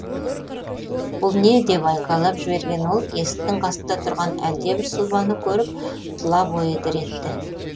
бұл не деп айқайлап жіберген ол есіктің қасында тұрған әлдебір сұлбаны көріп тұла бойы дір етті